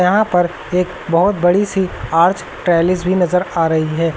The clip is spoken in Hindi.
यहां पर एक बहोत बड़ी सी आर्च पैलेस भी नजर आ रही है।